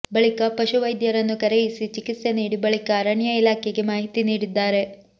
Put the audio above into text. ಬಳಿಕ ಪಶು ವೈದ್ಯರನ್ನು ಕರೆಯಿಸಿ ಚಿಕಿತ್ಸೆ ನೀಡಿ ಬಳಿಕ ಅರಣ್ಯ ಇಲಾಖೆಗೆ ಮಾಹಿತಿ ನೀಡಿದ್ದಾರೆ